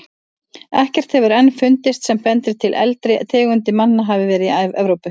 Ekkert hefur enn fundist sem bendir til að eldri tegundir manna hafi verið í Evrópu.